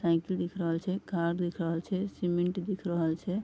Cycle दिख रहल छै कार दिख रहल छै सीमेंट दिख रहल छै ।